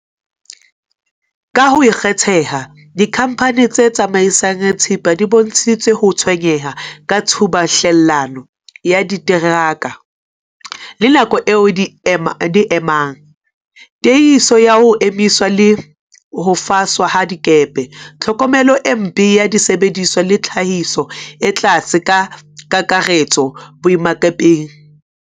Ka ho kgetheha, dikhamphani tse tsamaisang thepa di bontshitse ho tshwenyeha ka tshubuhlellano ya diteraka le nako eo di e emang, tiehiso ya ho emiswa le ho faswa ha dikepe, tlhokomelo e mpe ya disebediswa le tlhahiso e tlase ka kakaretso boemakepeng.